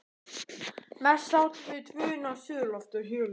Mest sátu þau tvö inni á suðurlofti og hjöluðu.